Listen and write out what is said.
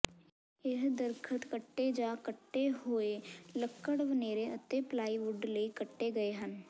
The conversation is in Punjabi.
ਇਹ ਦਰਖਤ ਕੱਟੇ ਜਾਂ ਕੱਟੇ ਹੋਏ ਲੱਕੜ ਵੇਨੇਰ ਅਤੇ ਪਲਾਈਵੁੱਡ ਲਈ ਕੱਟੇ ਗਏ ਹਨ